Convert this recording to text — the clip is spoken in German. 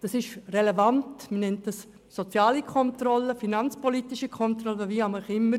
Das ist relevant, und man nennt es soziale Kontrolle, finanzpolitische Kontrolle oder wie auch immer.